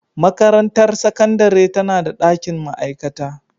Makarantar Sakandare tana da dakin ma'aikata